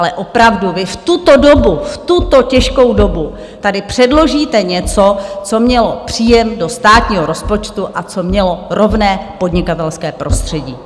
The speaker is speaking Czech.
Ale opravdu vy v tuto dobu, v tuto těžkou dobu, tady předložíte něco, co mělo příjem do státního rozpočtu a co mělo rovné podnikatelské prostředí.